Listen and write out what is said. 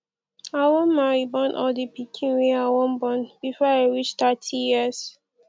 i wan marry born all di pikin wey i wan born before i reach thirty years